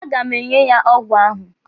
A ga m enye ya ọgwụ ahụ.